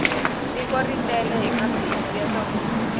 tiko ri tele hi mabindzu ya swakudya